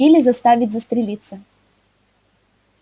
или заставить застрелиться